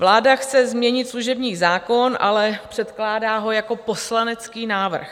Vláda chce změnit služební zákon, ale předkládá ho jako poslanecký návrh.